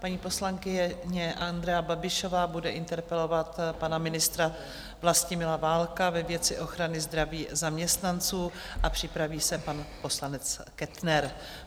Paní poslankyně Andrea Babišová bude interpelovat pana ministra Vlastimila Válka ve věci ochrany zdraví zaměstnanců a připraví se pan poslanec Kettner.